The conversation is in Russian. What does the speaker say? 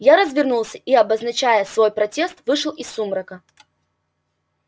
я развернулся и обозначая свой протест вышел из сумрака